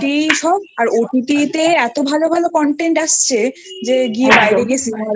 সব আর OTT তে এতো ভালোভালো Content আসছে যে বাইরে গিয়ে Cinema